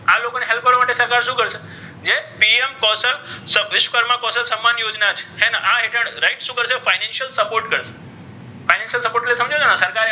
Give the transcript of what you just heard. આ લોકોને help કરવા માટે સરકાર શુ કરશે જે pm કૌશલ અથવા વિશ્વકર્મા કૌશલ સન્માન યોજના છે હે ને આ હેઠળ શુ કરશે financial support કરશે financial support સમજો છો ને સરકારે